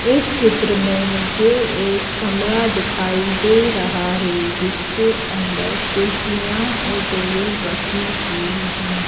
इस चित्र में मुझे एक कमरा दिखाई दे रहा है जिसके अंदर कुर्सियां और टेबल रखी हुई है।